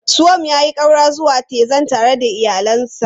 Suwam ya yi ƙaura zuwa Texas tare da iyalinsa.